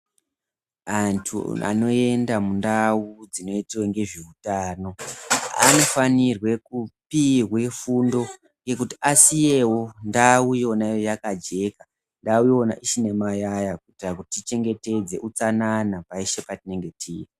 Antu anoenda mundau dzinoitwa nezveutano anofanirwe kupihwe fundo yekuti asiyewo ndau Yona yakajeka, ndau yona isine mayaya kuitira kuti tichengetedze utsanana peshe patinenge tiri.